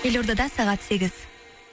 елордада сағат сегіз